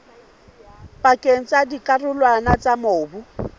pakeng tsa dikarolwana tsa mobu